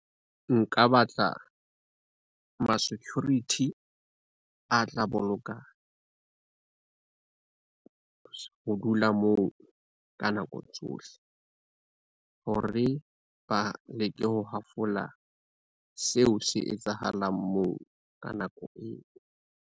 Nka batla, ma-security a tla boloka ho dula moo ka nako tsohle. Hore ba leke ho hafola seo se etsahalang moo ka nako eo.